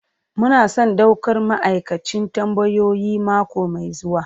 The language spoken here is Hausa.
Muna son daukar ma'aikacin tambayoyi mako mai zuwa.